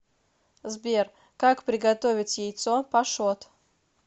сбер как приготовить яйцо пашот